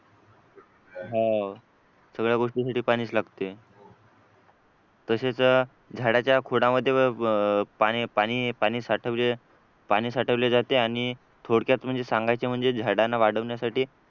हा सगळ्या गोष्टीसाठी पाणीच लागते तसेच झाडाच्या खोडामध्ये पाणी पाणी पाणी साठवले पाणी साठवले जाते थोडक्यात म्हणजे सांगायचं म्हणजे झाडांना वाढवण्यासाठी